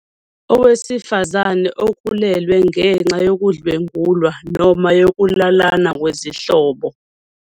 Owesifazane ukhulelwe ngenxa yokudlwengulwa noma yokulalana kwezihlobo.